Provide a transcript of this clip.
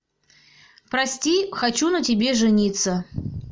прости хочу на тебе жениться